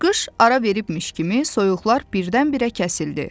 Qış ara vermişmiş kimi soyuqlar birdən-birə kəsildi.